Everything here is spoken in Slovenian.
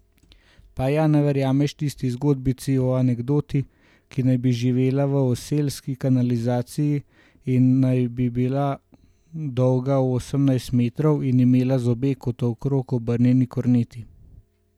Pa ja ne verjameš tisti zgodbici o anakondi, ki naj bi živela v oselski kanalizaciji in naj bi bila dolga osemnajst metrov in imela zobe kot okrog obrnjeni korneti.